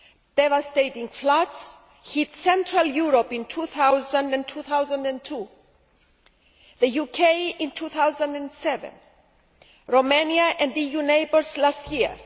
Devastating floods hit Central Europe in 2000 and 2002, the UK in 2007, and Romania and EU neighbours last year.